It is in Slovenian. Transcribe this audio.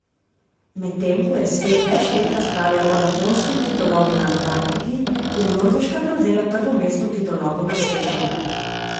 Medtem ko je svet več let razpravljal o japonskem kitolovu na Antarktiki, je Norveška prevzela prvo mesto v kitolovu na svetu.